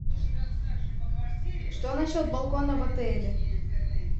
что насчет балкона в отеле